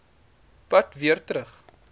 pad weer terug